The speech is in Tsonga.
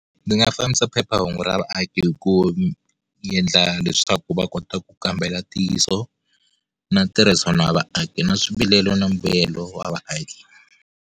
Ndzi nga fambisa phephahungu ra vaaki hi ku endla leswaku va kota ku kambela ntiyiso, na ntirhisano wa vaaki, na swivilelo na mbuyelo wa vaaki.